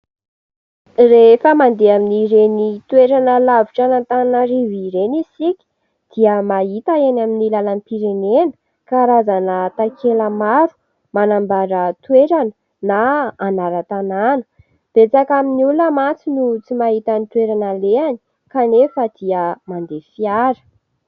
Rehefa mandeha amin' ireny toerana lavitra an' Antananarivo ireny isika dia mahita eny amin' ny lalam-pirenena karazana takela maro manambara toerana na anaran-tanàna. Betsaka amin' ny olona mantsy no tsy mahita ny toerana alehany kanefa dia mandeha fiara.